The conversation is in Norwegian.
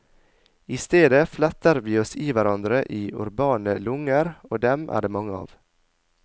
I stedet fletter vi oss i hverandre i urbane lunger, og dem er det mange av.